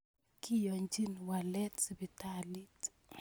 Kiyochin walet sipitalit